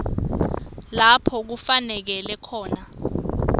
lapho kufaneleke khona